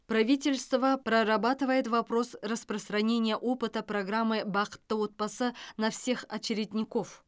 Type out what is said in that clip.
правительство прорабатывает вопрос распространения опыта программы бақытты отбасы на всех очередников